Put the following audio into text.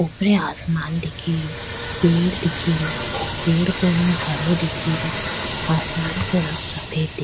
ऊपर आसमान दिख रो पेड़ दिख रो पेड़ का रंग हरो दिख रो आसमान को रंग सफ़ेद दी --